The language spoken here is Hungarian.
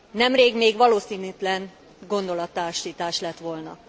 Nemrég még valószínűtlen gondolattársítás lett volna.